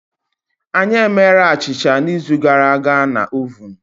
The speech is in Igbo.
Anyị emere achịcha n'izu gara aga na ovun.